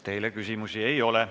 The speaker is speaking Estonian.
Teile küsimusi ei ole.